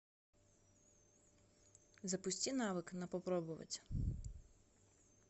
запусти навык на попробовать